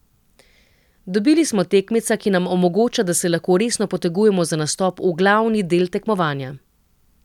Dobili smo tekmeca, ki nam omogoča, da se lahko resno potegujemo za nastop v glavni del tekmovanja.